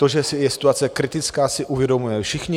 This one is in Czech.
To, že je situace kritická, si uvědomujeme všichni.